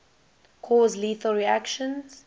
cause lethal reactions